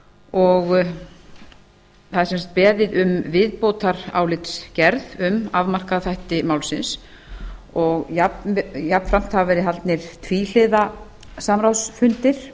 og það er sem sagt beðið um viðbótarálitsgerð um afmarkaða þætti málsins jafnframt hafa verið haldnir tvíhliða samráðsfundir